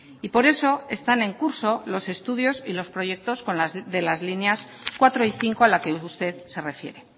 y por eso están en curso los estudios y los proyectos de las líneas cuatro y cinco a la que usted se refiere